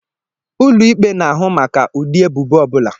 Ụlọikpe na-ahụ maka ụdị ebubo ọbula